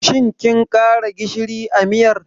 Shin kin ƙara gishiri a miyar?